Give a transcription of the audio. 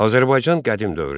Azərbaycan qədim dövrdə.